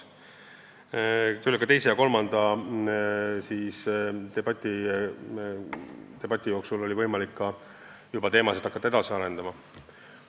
Teise ja kolmanda esineja järel oli võimalik hakata juba teemasid edasi arendama.